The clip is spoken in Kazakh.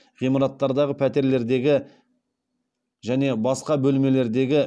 ғимараттардағы пәтерлердегі және басқа бөлмелердегі